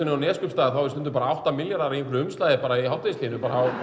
í Neskaupstað eru stundum bara átta milljarðar í umslagi í hádegishléinu